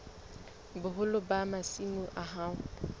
boholo ba masimo a hao